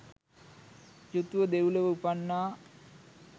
යුතුව දෙව්ලොව උපන්නා.